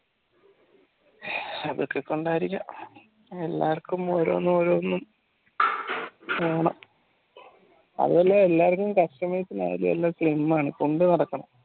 അതൊക്കെ കൊണ്ടായിരിക്കാം എല്ലാവർക്കും ഓരോന്ന് ഓരോന്ന് വേണം അതുപോലെ എല്ലാർക്കും customers നു slim ആണ് കൊണ്ടുനടക്കണം